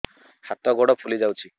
ହାତ ଗୋଡ଼ ଫୁଲି ଯାଉଛି